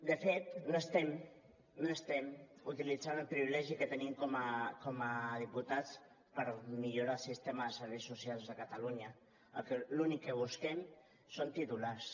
de fet no estem utilitzant el privilegi que tenim com a diputats per millorar el sistema de serveis socials de catalunya l’únic que busquem són titulars